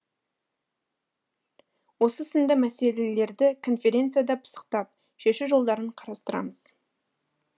осы сынды мәселелерді конференцияда пысықтап шешу жолдарын қарастырамыз